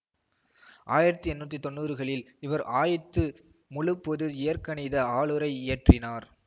ஆயிரத்தி எண்ணூற்றி தொன்னூறுகளில் இவர் ஆய்த்து முழுப்பொது இயற்கணித ஆழுரை இயற்றினார்